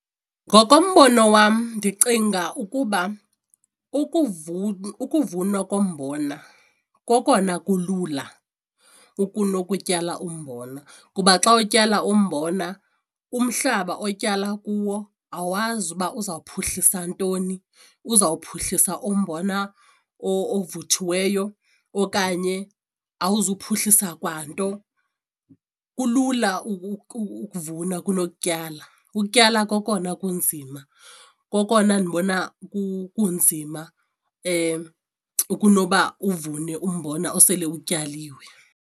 Ngokombono wam ndicinga ukuba ukuvunwa kombona kokona kulula kunokutyala umbona kuba xa utyala umbona umhlaba otyala kuwo awazi uba uzaphuhlisa ntoni uzowuphuhlisa umbona ovuthiweyo okanye awuzuphuhlisa kwanto. Kulula ukuvuna kunokutyala, ukutyala kokona kunzima kokona ndibona kunzima kunoba uvune umbona osele utyaliwe.